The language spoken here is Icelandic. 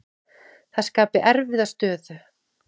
Það skapi erfiða stöðu.